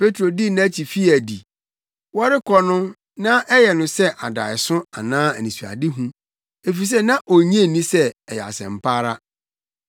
Petro dii nʼakyi fii adi. Wɔrekɔ no na ɛyɛ no sɛ adaeso anaa anisoadehu, efisɛ na onnye nni sɛ ɛyɛ asɛmpa ara.